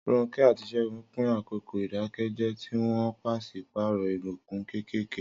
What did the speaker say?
Ronke àti Segun pín àkókò ìdákẹ́jẹ́, tí wọ́n pàṣípààrọ̀ ìbùkún kéékèèké.